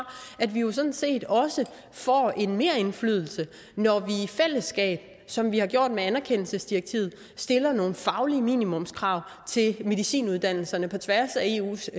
at vi jo sådan set også får en merindflydelse når vi i fællesskab som vi har gjort med anerkendelsesdirektivet stiller nogle faglige minimumskrav til medicinuddannelserne på tværs af eus